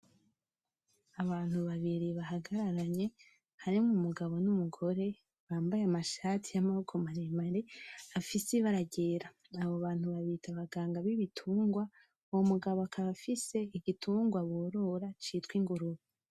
Abantu babiri bahagararanye harimwo Umugabo n'Umugore bambaye amashati y'Amaboko maremare afise ibara ryera, abo bantu babita abanganga bibitungwa, uwo mugabo akaba afise igitungwa borora citwa Ingurube.